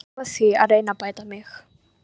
Ég lofa því að reyna að bæta mig.